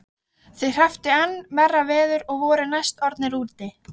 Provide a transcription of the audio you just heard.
Þeir hrepptu enn verra veður og voru næstum orðnir úti.